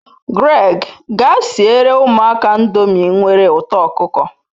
Greg, gaa siere umuaka ndomi nwere uto okuko